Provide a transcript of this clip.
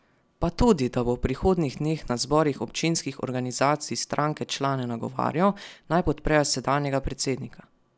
Pa tudi, da bo v prihodnjih dneh na zborih občinskih organizacij stranke člane nagovarjal, naj podprejo sedanjega predsednika.